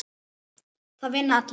Það vinna allir